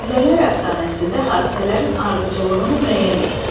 Çillələr əfsanəsində hadisələrin ardıcıllığını müəyyən et.